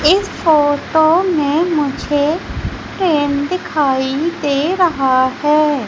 इस फोटो में मुझे ट्रेन दिखाई दे रहा है।